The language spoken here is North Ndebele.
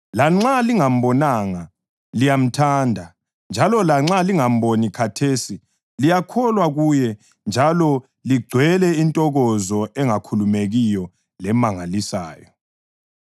Lanxa lingambonanga, liyamthanda; njalo lanxa lingamboni khathesi, liyakholwa kuye njalo ligcwele intokozo engakhulumekiyo lemangalisayo,